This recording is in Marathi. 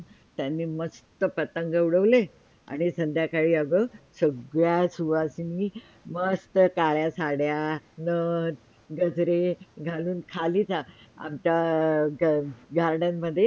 त्यांनी मस्त पतंग उडवले, आणि संध्याकाळी अगं सगळ्या सुवासींनी मस्त काळ्या साड्या, नथ, गजरे घालून खाली GARDAN मध्ये